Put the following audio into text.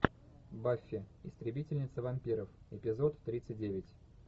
баффи истребительница вампиров эпизод тридцать девять